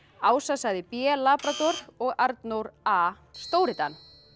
Ása sagði b labrador og Arnór a stóri Dan